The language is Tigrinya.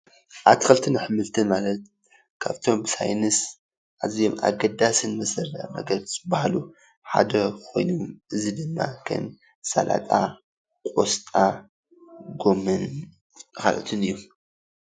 ኣትክልንት ኣሕምልትን ማለት ካብቶም ብሳይነስ ኣዝዮም ኣገደስቲ ምግብታት ዝብሃሉ ሓደ ኮይኑ፣ እዚ ድማ ከም ሰላጣ፣ ቆስጣ፣ ጎመን ካልኦትን እዮም፡፡